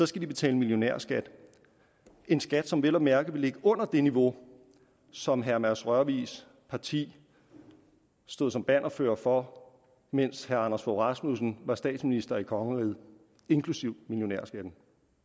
skal de betale millionærskat en skat som vel at mærke vil ligge under det niveau som herre mads rørvigs parti stod som bannerfører for mens herre anders fogh rasmussen var statsminister i kongeriget inklusive millionærskatten